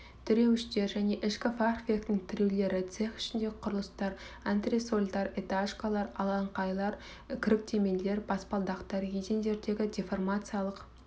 тіреуіштер және ішкі фахверктің тіреулері цех ішіндегі құрылыстар антресольдар этажеркалар алаңқайлар кіріктірмелер баспалдақтар едендердегі деформациялық